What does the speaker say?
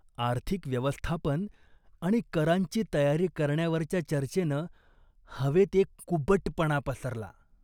आर्थिक व्यवस्थापन आणि करांची तयारी करण्यावरच्या चर्चेनं हवेत एक कुबटपणा पसरला.